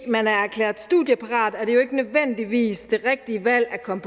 man er erklæret studieparat er det jo ikke nødvendigvis det rigtige valg at komme